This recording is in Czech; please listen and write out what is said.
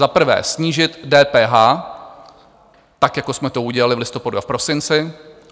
Za prvé snížit DPH, tak jako jsme to udělali v listopadu a v prosinci.